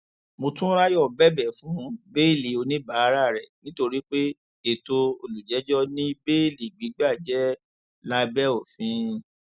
mòtúnráyọ bẹbẹ fún bẹẹlí oníbàárà rẹ nítorí pé ètò olùjẹjọ ní béèlì gbígbà jẹ lábẹ òfin